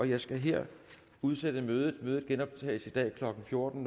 jeg skal her udsætte mødet mødet genoptages i dag klokken fjorten